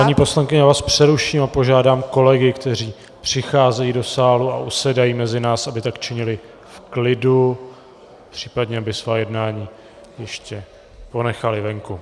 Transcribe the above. Paní poslankyně, já vás přeruším a požádám kolegy, kteří přicházejí do sálu a usedají mezi nás, aby tak činili v klidu, případně aby svá jednání ještě ponechali venku.